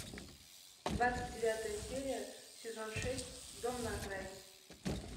двадцать девятая серия сезон шесть дом на окраине